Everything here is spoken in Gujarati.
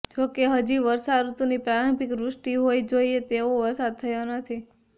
જોકે હજી વર્ષાઋતુની પ્રારંભિક વૃષ્ટિ હોઇ જોઇએ તેવો વરસાદ થયો નથી